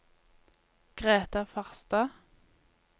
Greta Farstad